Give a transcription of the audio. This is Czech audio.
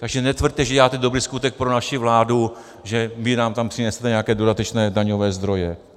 Takže netvrďte, že děláte dobrý skutek pro naši vládu, že vy nám tam přinesete nějaké dodatečné daňové zdroje.